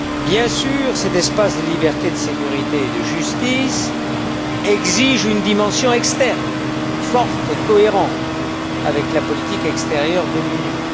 Bien sûr, cet espace de liberté, de sécurité et de justice exige une dimension externe forte et cohérente avec la politique extérieure de l'Union.